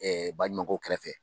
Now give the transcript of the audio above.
baɲumankow kɛrɛfɛ